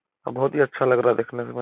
और बहोत ही अच्छा लग रहा है देखने में।